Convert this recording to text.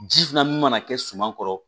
Ji filanan min mana kɛ suma kɔrɔ